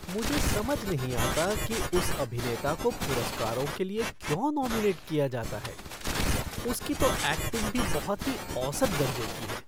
मुझे समझ नहीं आता कि उस अभिनेता को पुरस्कारों के लिए क्यों नॉमिनेट किया जाता है। उसकी तो ऐक्टिंग भी बहुत ही औसत दर्जे की है।